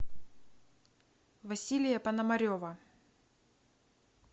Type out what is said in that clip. василия пономарева